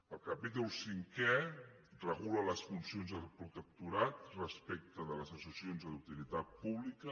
el capítol cinquè regula les funcions del protectorat respecte a les associacions d’utilitat pública